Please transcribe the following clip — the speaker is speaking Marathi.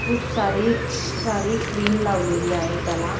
खूप सारी सारी क्रीम लावलेली आहे त्याला.